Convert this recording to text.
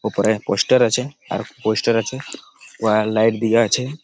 উপরে পোস্টার আছে। আর পোস্টার আছে ওয়াই লাইট দিয়ে আছে।